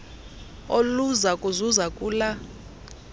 oluza kuzuza kula